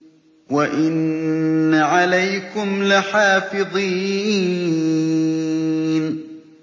وَإِنَّ عَلَيْكُمْ لَحَافِظِينَ